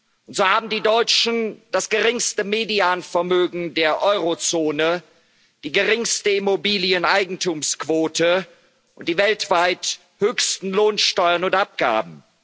Und so haben die Deutschen das geringste Medianvermögen der Eurozone, die geringste Immobilieneigentumsquote und die weltweit höchsten Lohnsteuern und abgaben.